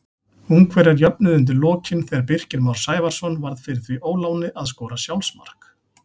Ungverjar jöfnuðu undir lokin þegar Birkir Már Sævarsson varð fyrir því óláni að skora sjálfsmark.